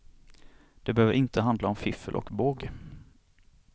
Det behöver inte handla om fiffel och båg.